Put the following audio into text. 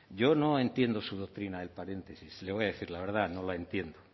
yo no entiendo su doctrina del paréntesis le voy a decir la verdad no lo entiendo